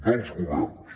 dels governs